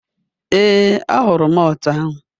Ee, ọ hụrụ malt ahụ.